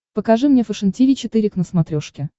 покажи мне фэшен тиви четыре к на смотрешке